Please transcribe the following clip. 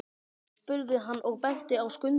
spurði hann og benti á Skunda.